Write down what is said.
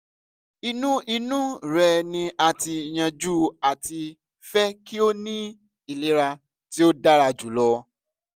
inu inu rẹ ni a ti yanju ati fẹ ki o ni ilera ti o dara julọ